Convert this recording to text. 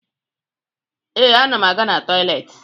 Ee, ana m aga na tọyịleetị